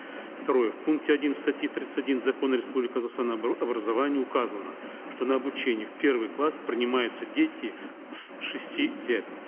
второе в пункте один статьи тридцать один закона республики казахстан об образовании указано что на обучение в первый класс принимаются дети с шести лет